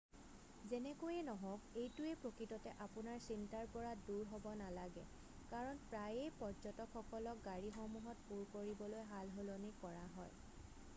যেনেকৈয়ে নহওক এইটোৱে প্ৰকৃততে আপোনাৰ চিন্তাৰ পৰা দূৰ হ'ব নালাগে কাৰণ প্ৰায়েই পৰ্য্যটকসকলক গাড়ীসমূহত পূৰ কৰিবলৈ সালসলনি কৰা হয়৷